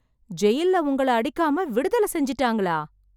ஜெயில்ல உங்கள அடிக்காம, விடுதலை செஞ்சிட்டாங்களா...